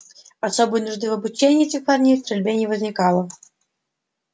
особой нужды в обучении этих парней стрельбе не возникало